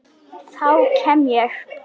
Þá kem ég